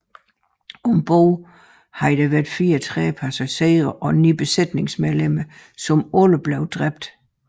Om bord havde været 34 passagerer og 9 besætningsmedlemmer som alle blev dræbt